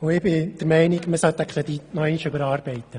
Ich bin der Meinung, man müsste den Kredit noch einmal überarbeiten.